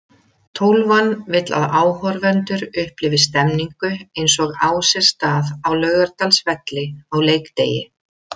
Tólfan vill að áhorfendur upplifi stemningu eins og á sér stað á Laugardalsvelli á leikdegi.